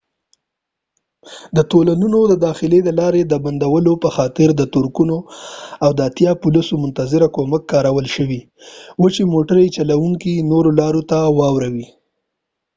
د تونلونو د داخلي لارو د بندولو په خاطر د ټرکونو او اتیا پولیسو منتظره کومک کارول شوي و چې موټر چلونکي نورو لارو ته واړوي